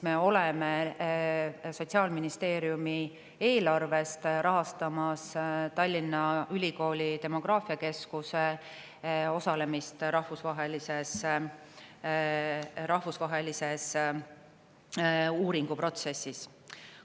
Me oleme Sotsiaalministeeriumi eelarvest rahastamas Tallinna Ülikooli demograafiakeskuse osalemist rahvusvahelises uuringuprotsessis.